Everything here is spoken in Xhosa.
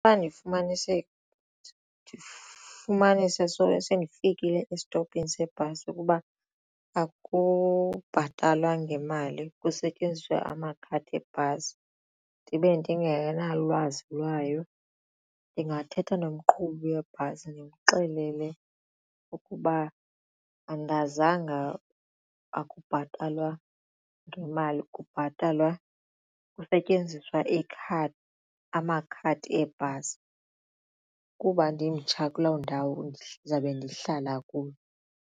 xa ndifumanise sendifikile esitopini sebhasi ukuba akubhatalwa ngemali kusetyenziswa amakhadi ebhasi ndibe ndingenalwazi lwayo ndingathetha nomqhubi webhasi ndimxelele ukuba andazanga akubhatalwa ngemali kubhatalwa kusetyenziswa ikhadi amakhadi ebhasi kuba ndimtsha kuloo ndawo ndizawube ndihlala kuyo.